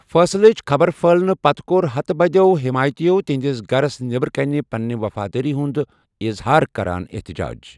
فیصلٕچ خبر پٔھہلنہٕ پتہٕ کوٚر ہتہٕ بَدٮ۪و حیمایتِیو تہنٛدِس گھرَس نٮ۪برٕ کٔنہِ پننہِ وفادٲری ہٗند اِظہار كران احتجاج ۔